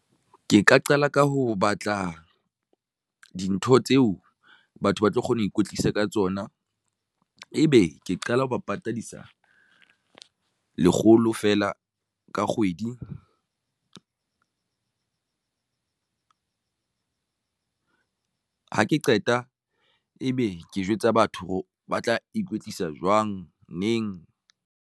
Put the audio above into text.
Ke ka qala ka ho batla dintho tseo batho ba tlo kgona ho ikwetlisa ka tsona. Ebe ke qala ho ba patadisa lekgolo fela ka kgwedi tlung ha ke qeta ebe ke jwetsa batho ba tla ikwetlisa jwang neng.